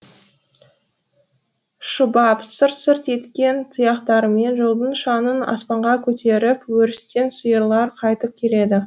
шұбап сырт сырт еткен тұяқтарымен жолдың шаңын аспанға көтеріп өрістен сиырлар кайтып келеді